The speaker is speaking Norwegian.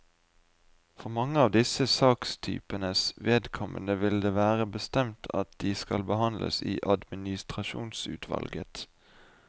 For mange av disse sakstypenes vedkommende vil det være bestemt at de skal behandles i administrasjonsutvalget.